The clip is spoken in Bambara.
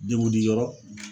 Dengudi yɔrɔ.